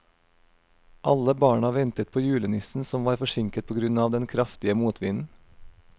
Alle barna ventet på julenissen, som var forsinket på grunn av den kraftige motvinden.